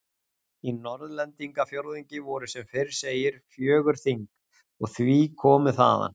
Í Norðlendingafjórðungi voru sem fyrr segir fjögur þing, og því komu þaðan